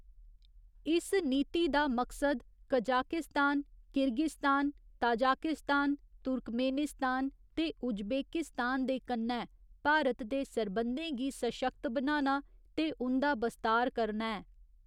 इस नीति दा मकसद कजाकिस्तान, किर्गिस्तान, ताजिकिस्तान, तुर्कमेनिस्तान ते उज्बेकिस्तान दे कन्नै भारत दे सरबंधें गी सशक्त बनाना ते उं'दा बस्तार करना ऐ।